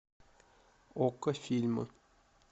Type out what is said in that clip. окко фильмы